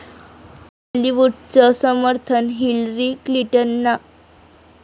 बॉलिवूडचं समर्थन हिलरी क्लिंटनना